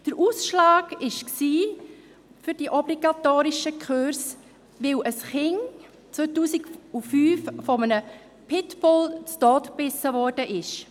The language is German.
Den Ausschlag für die obligatorischen Kurse gab, dass 2005 ein Kind von einem Pitbull zu Tode gebissen worden war.